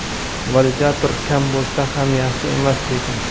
Validator kam bo‘lsa ham yaxshi emas lekin.